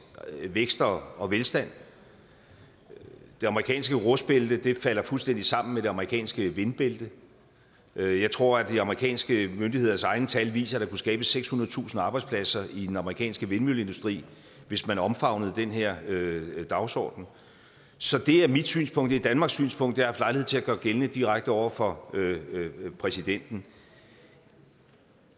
vækst og og velstand det amerikanske rustbælte falder fuldstændig sammen med det amerikanske vindbælte jeg tror at de amerikanske myndigheders egne tal viser at der kunne skabes sekshundredetusind arbejdspladser i den amerikanske vindmølleindustri hvis man omfavnede den her dagsorden så det er mit synspunkt det er danmarks synspunkt jeg haft lejlighed til at gøre gældende direkte over for præsidenten